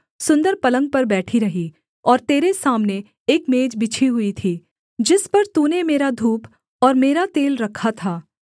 सुन्दर पलंग पर बैठी रही और तेरे सामने एक मेज बिछी हुई थी जिस पर तूने मेरा धूप और मेरा तेल रखा था